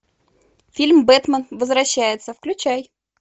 фильм бэтмен возвращается включай